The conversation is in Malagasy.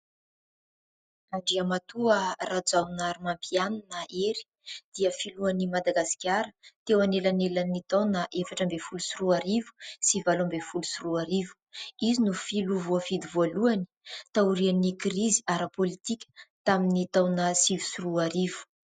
Andriamatoa Rajaonarimampianina Hery dia filohan'i Madagasikara teo anelanelan'ny taona efatra ambin'ny fololo sy roa arivo sy valo ambin'ny folo sy roa arivo. Izy no filoha voafidy voalohany taorian'ny krizy ara-pôlitika tamin'ny taona sivy sy roa arivo.